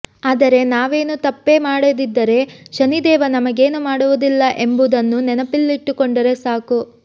ಆದರೆ ನಾವೇನೂ ತಪೇ ಮಾಡದಿದ್ದರೆ ಶನಿದೇವ ನಮಗೇನೂ ಮಾಡುವುದಿಲ್ಲ ಎಂಬುದನ್ನು ನೆನಪಿನಲ್ಲಿಟ್ಟುಕೊಂಡರೆ ಸಾಕು